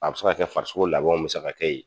A bɛ se ka farisogo labɛnw bɛ se ka kɛ ye.